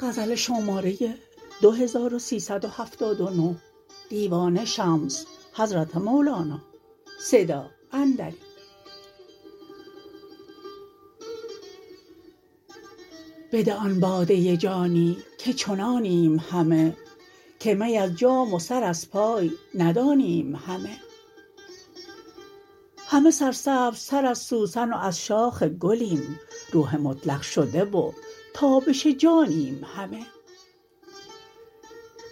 بده آن باده جانی که چنانیم همه که می از جام و سر از پای ندانیم همه همه سرسبزتر از سوسن و از شاخ گلیم روح مطلق شده و تابش جانیم همه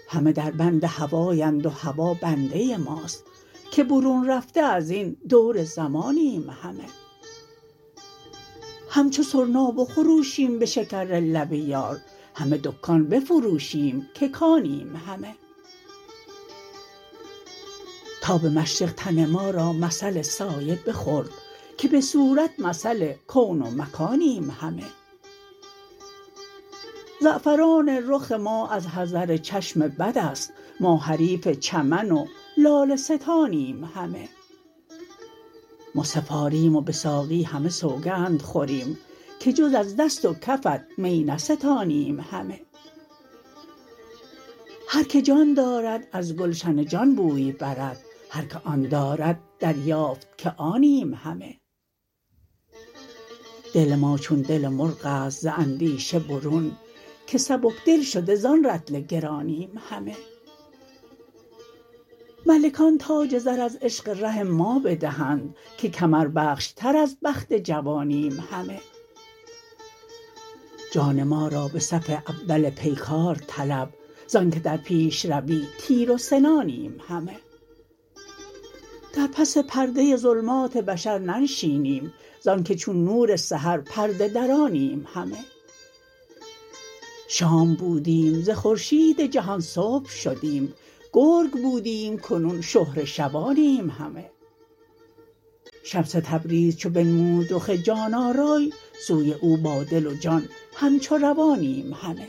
همه دربند هوایند و هوا بنده ماست که برون رفته از این دور زمانیم همه همچو سرنا بخروشیم به شکر لب یار همه دکان بفروشیم که کانیم همه تاب مشرق تن ما را مثل سایه بخورد که به صورت مثل کون و مکانیم همه زعفران رخ ما از حذر چشم بد است ما حریف چمن و لاله ستانیم همه مصحف آریم و به ساقی همه سوگند خوریم که جز از دست و کفت می نستانیم همه هر که جان دارد از گلشن جان بوی برد هر که آن دارد دریافت که آنیم همه دل ما چون دل مرغ است ز اندیشه برون که سبک دل شده زان رطل گرانیم همه ملکان تاج زر از عشق ره ما بدهند که کمربخشتر از بخت جوانیم همه جان ما را به صف اول پیکار طلب ز آنک در پیش روی تیر و سنانیم همه در پس پرده ظلمات بشر ننشینیم ز آنک چون نور سحر پرده درانیم همه شام بودیم ز خورشید جهان صبح شدیم گرگ بودیم کنون شهره شبانیم همه شمس تبریز چو بنمود رخ جان آرای سوی او با دل و جان همچو روانیم همه